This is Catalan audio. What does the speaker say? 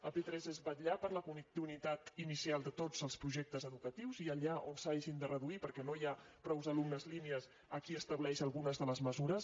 a p3 és vetllar per la continuïtat inicial de tots els projectes educatius i allà on s’hagin de reduir perquè no hi ha prou alumnes línies aquí estableix algunes de les mesures